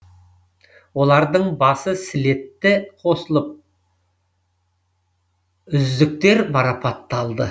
олардың басы слетте қосылып үздіктер марапатталды